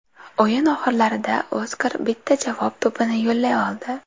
O‘yin oxirlarida Oskar bitta javob to‘pini yo‘llay oldi.